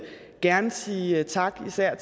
gerne sige tak til især